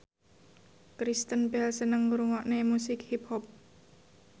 Kristen Bell seneng ngrungokne musik hip hop